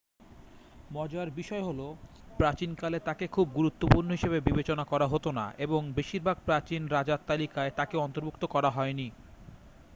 মজার বিষয় হল প্রাচীনকালে তাকে খুব গুরুত্বপূর্ণ হিসাবে বিবেচনা করা হত না এবং বেশিরভাগ প্রাচীন রাজার তালিকায় তাকে অন্তর্ভুক্ত করা হয়নি